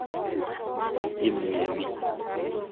imnyeni.